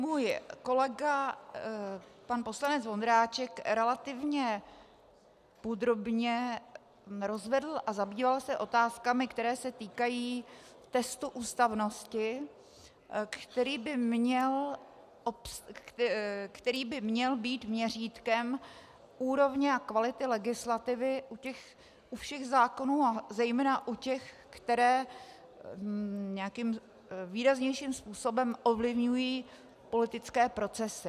Můj kolega pan poslanec Vondráček relativně podrobně rozvedl a zabýval se otázkami, které se týkají testu ústavnosti, který by měl být měřítkem úrovně a kvality legislativy u všech zákonů, a zejména u těch, které nějakým výraznějším způsobem ovlivňují politické procesy.